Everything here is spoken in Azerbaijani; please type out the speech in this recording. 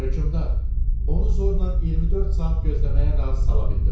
Hökmdar, onu zorla 24 saat gözləməyə razı sala bildim.